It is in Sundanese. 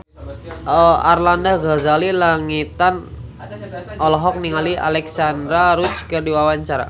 Arlanda Ghazali Langitan olohok ningali Alexandra Roach keur diwawancara